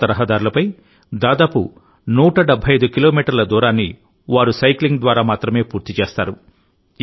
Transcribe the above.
పర్వత రహదారులపై దాదాపు 175 కిలోమీటర్ల దూరాన్నివారు సైక్లింగ్ ద్వారా మాత్రమే పూర్తి చేస్తారు